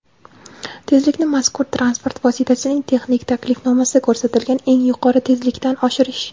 tezlikni mazkur transport vositasining texnik tavsifnomasida ko‘rsatilgan eng yuqori tezlikdan oshirish;.